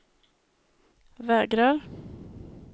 vägrar